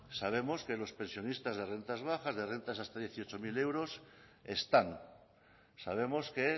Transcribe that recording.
sabemos que los pensionistas de rentas bajas de rentas hasta dieciocho mil euros están sabemos que